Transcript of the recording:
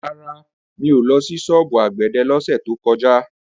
Rárá, mi ò lọ sí ṣọ́ọ̀bù àgbẹ̀dẹ lọ́sẹ̀ tó kọjá.